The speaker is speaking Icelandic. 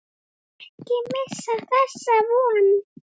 Ekki missa þessa von.